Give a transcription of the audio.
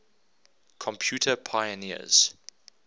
computer pioneers